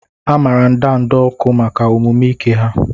A maara ndanda ọkụ maka omume ike ha.